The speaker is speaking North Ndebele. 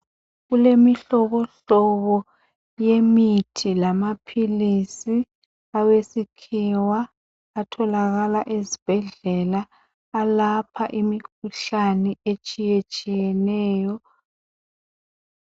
Kulemihlobohlobo yemithi lamaphilisi awesikhiwa atholakala ezibhedlela alapha imikhuhlane etshiye tshiyeneyo.